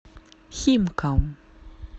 химкам